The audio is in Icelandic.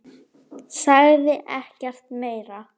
Sagði ekkert meira.